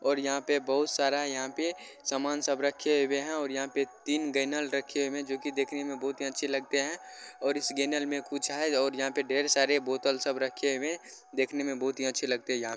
और यहाँ पे बहुत सारा-- यहाँ पे सामान सब रखे हुए हैं और यहाँ पर तीन गैलन रखे हुए हैं जोकि देखने में बहुत ही अच्छे लगते हैं और इस गैलन में कुछ है और यहाँ पे ढेर सारे बोतल सब रखे हुए हैं देखने में बहुत ही अच्छे लगते हैं। यहाँ--